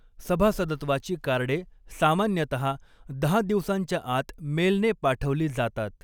सभासदत्वाची कार्डे सामान्यतहा दहा दिवसांच्या आत मेलने पाठवली जातात.